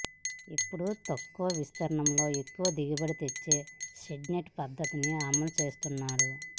ఇప్పుడు తక్కువ విస్తీర్ణంలో ఎక్కువ దిగుబడి తెచ్చే షేడ్నెట్ పద్ధతిని అమలుచేస్తున్నాడు